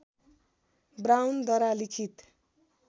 ब्राउनद्वारा लिखित